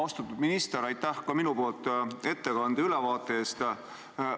Austatud minister, aitäh ka minu poolt ettekande ja ülevaate eest!